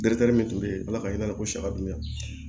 Dɛsɛri min bɛ yen ala ka ɲɛnabɔ saga dun ya